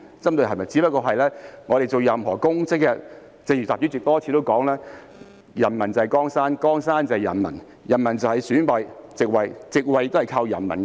只不過，我們做任何公職，正如主席多次提及，"人民就是江山，江山就是人民"，人民選出席位，席位也是靠人民得來。